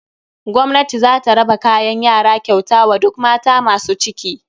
Gwamnati zata raba kayan yara kyauta wa duk mata masu ciki.